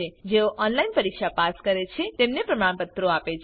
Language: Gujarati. જેઓ ઓનલાઈન પરીક્ષા પાસ કરે છે તેઓને પ્રમાણપત્રો આપે છે